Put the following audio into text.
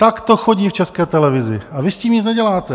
Tak to chodí v České televizi a vy s tím nic neděláte.